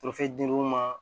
dir'u ma